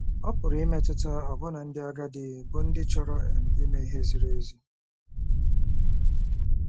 Ọ pụrụ imetụta ọbụna ndị agadi bụ́ ndị chọrọ um ime ihe ziri ezi.